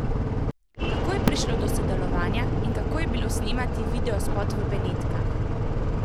Kako je prišlo do sodelovanja in kako je bilo snemati videospot v Benetkah?